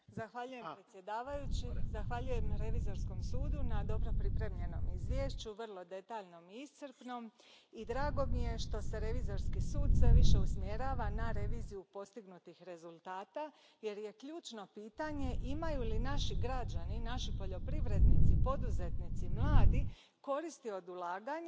Gospodine predsjedavajući, zahvaljujem Revizorskom sudu na dobro pripremljenom izvješću, vrlo detaljnom i iscrpnom, i drago mi je što se Revizorski sud sve više usmjerava na reviziju postignutih rezultata jer ključno je pitanje imaju li naši građani, naši poljoprivrednici, poduzetnici i mladi koristi od ulaganja